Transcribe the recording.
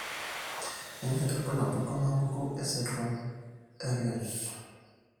kainyio irbulabul onaapuku eesindirom eRett?